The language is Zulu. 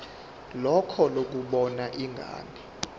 lakho lokubona ingane